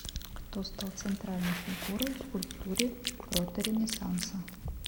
кто стал центральной фигурой в скульптуре проторенессанса